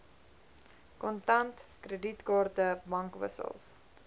kontant kredietkaarte bankwissels